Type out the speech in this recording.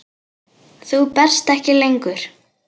Þú berst ekki lengur.